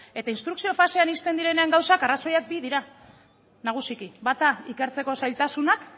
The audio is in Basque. eta instrukzio fasean ixten direnean gauzak arrazoiak bi dira nagusiki bata ikertzeko zailtasunak